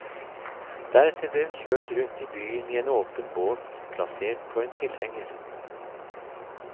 Deretter ble hun kjørt rundt i byen i en åpen båt, plassert på en tilhenger.